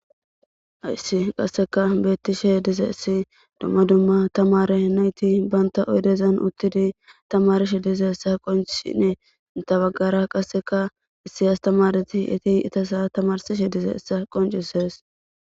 hayssi qasseka beettishe dizayissi dumma dumma tamare nayti banta oydezan uttidi tamarishe dizayissa qoncisses inta baggara qasseka issi astamareti eti itasa tamarsishe dizayissa qoncisees